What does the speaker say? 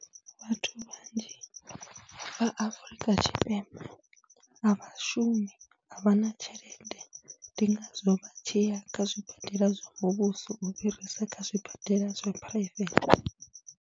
Vhathu vhanzhi vha Afrika Tshipembe a vha shumi, a vha na tshelede ndi ngazwo vha tshi ya kha zwibadela zwa muvhuso u fhirisa kha zwibadela zwa phuraivethe.